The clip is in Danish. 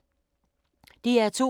DR2